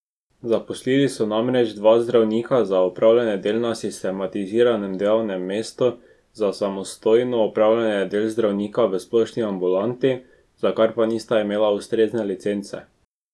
Zaposlili so namreč dva zdravnika za opravljanje del na sistemiziranem delovnem mestu za samostojno opravljanje del zdravnika v splošni ambulanti, za kar pa nista imela ustrezne licence.